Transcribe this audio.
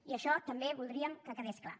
i això també voldríem que quedés clar